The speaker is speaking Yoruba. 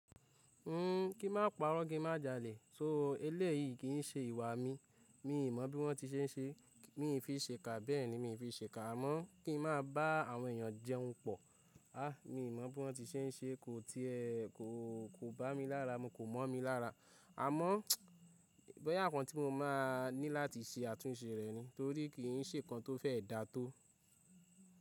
N ki máa parọ́ kí n má jalè. So eléyìí kì í ṣe ìwà mi. Mi i mọ̀ bí wọ́n ti ṣe ń ṣe, mi ò fi ṣe kà bẹ́ẹ̀ ni mi ò fi ṣe kà. Àmọ́ kí n má bá àwọn èèyàn jẹun pọ̀. Mi i mọ̀ bí wọ́n ti ṣe ń ṣe, kò ti ẹ́ ko kò bá mi lára mu kò mọ̀ mi lára. Àmọ́ boya nkan tí mo máa ní láti ṣe àtúnṣe rẹ̀ ni torí kì í ṣe nǹkan tó fẹ́ dá tó.